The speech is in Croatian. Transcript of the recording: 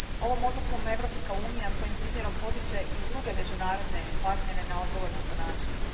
Ovom odlukom Europska unija svojim primjerom potiče i druge međunarodne partnere na odgovorno ponašanje.